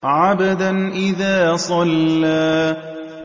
عَبْدًا إِذَا صَلَّىٰ